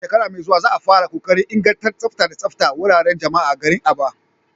A shekara mai zuwa za a fara kokarin inganta tsafta da tsaftar wuraren jama'a a garin Aba.